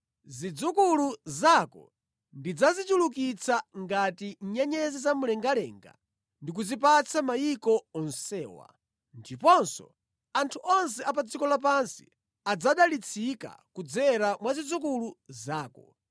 Zidzukulu zako ndidzazichulukitsa ngati nyenyezi za mu mlengalenga ndi kuzipatsa mayiko onsewa. Ndiponso anthu onse a pa dziko lapansi adzadalitsika kudzera mwa zidzukulu zako,